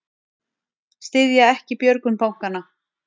Styðja ekki björgun bankanna